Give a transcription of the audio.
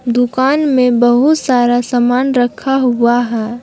दुकान में बहुत सारा सामान रखा हुआ है ।